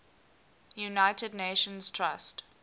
united nations trust